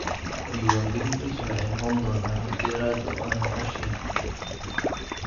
Diiwaangelintiisu waxay noqon doontaa mid dheeraad ah, oo aan la qorshayn.